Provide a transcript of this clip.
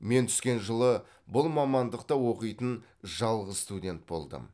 мен түскен жылы бұл мамандықта оқитын жалғыз студент болдым